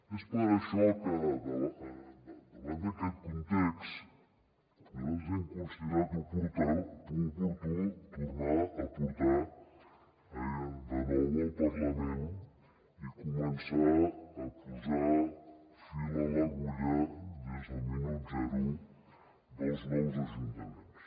és per això que davant d’aquest context nosaltres hem considerat oportú tornar ho a portar de nou al parlament i començar a posar fil a l’agulla des del minut zero dels nous ajuntaments